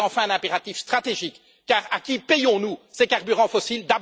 C'est, enfin, un impératif stratégique, car à qui payons nous ces carburants fossiles?